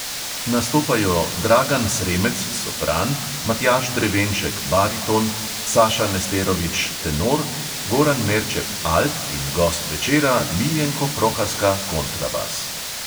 Nastopajo dragan sremec, sopran, matjaž drevenšek, bariton, saša nesterović, tenor, goran merčep, alt in gost večera: miljenko prohaska, kontrabas.